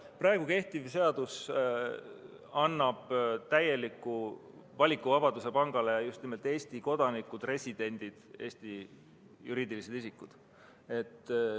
Praegu kehtiv seadus annab pangale täieliku valikuvabaduse just nimelt Eesti kodanike, residentide ja Eesti juriidiliste isikute suhtes.